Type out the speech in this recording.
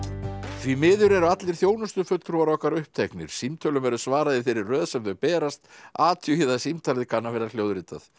því miður eru allir þjónustufulltrúar okkar uppteknir símtölum verður svarað í þeirri röð sem þau berast athugið að símtalið kann að vera hljóðritað